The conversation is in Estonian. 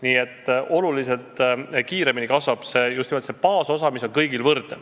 Nii et oluliselt kiiremini kasvab just nimelt baasosa, mis on kõigil võrdne.